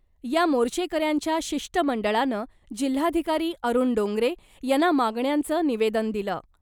या मोर्चेकऱ्यांच्या शिष्टमंडळानं जिल्हाधिकारी अरूण डोंगरे यांना मागण्यांचं निवेदन दिलं .